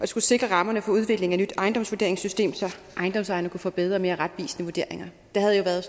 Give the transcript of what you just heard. skulle sikre rammerne for udvikling af et nyt ejendomsvurderingssystem så ejendomsejerne kunne få bedre og mere retvisende vurderinger der havde jo været